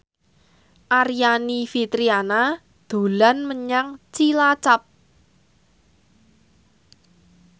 Aryani Fitriana dolan menyang Cilacap